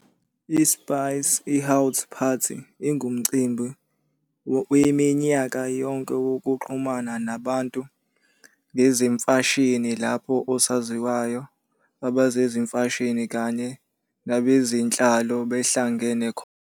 ISpice Haute Party ingumcimbi waminyaka yonke wokuxhumana nabantu ngezemfashini lapho osaziwayo, abezemfashini kanye nabezenhlalo behlangana khona.